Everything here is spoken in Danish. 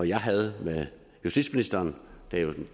jeg havde med justitsministeren da